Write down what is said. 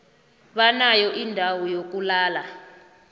banayo indawo yokulala